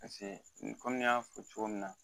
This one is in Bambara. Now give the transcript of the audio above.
Paseke ko ne ya fɔ cogo min na